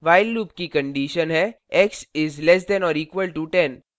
while loop की condition हैx is less than or equal to 10